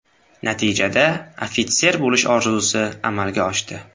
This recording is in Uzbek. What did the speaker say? Natijada, ofitser bo‘lish orzusi amalga oshdi”.